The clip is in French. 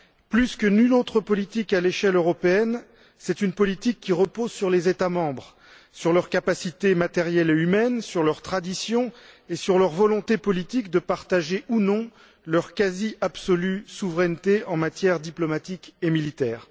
Plus que nulle autre politique à l'échelle européenne, c'est une politique qui repose sur les États membres, sur leur capacité matérielle et humaine, sur leurs traditions et sur leur volonté politique de partager, ou non, leur quasi absolue souveraineté en matière diplomatique et militaire.